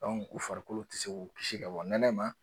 u farikolo tɛ se k'u kisi ka bɔ nɛnɛ ma